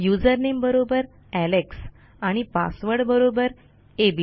usernameबरोबरalexआणि password बरोबरabc